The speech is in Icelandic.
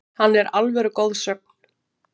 Hann er alvöru goðsögn,